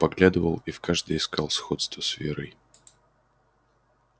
подглядывал и в каждой искал сходство с верой